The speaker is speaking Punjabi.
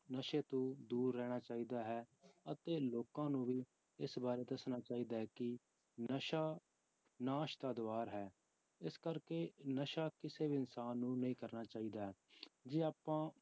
ਨਸ਼ੇ ਤੋਂ ਦੂਰ ਰਹਿਣਾ ਚਾਹੀਦਾ ਹੈ ਅਤੇ ਲੋਕਾਂ ਨੂੰ ਵੀ ਇਸ ਬਾਰੇ ਦੱਸਣਾ ਚਾਹੀਦਾ ਹੈ ਕਿ ਨਸ਼ਾ ਨਾਸ਼ ਦਾ ਦੁਆਰ ਹੈ, ਇਸ ਕਰਕੇ ਨਸ਼ਾ ਕਿਸੇ ਵੀ ਇਨਸਾਨ ਨੂੰ ਨਹੀਂ ਕਰਨਾ ਚਾਹੀਦਾ ਜੇ ਆਪਾਂ